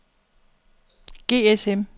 GSM